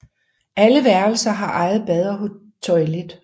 Alle værelser har eget bad og toilet